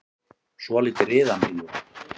Svolítið riðandi, jú.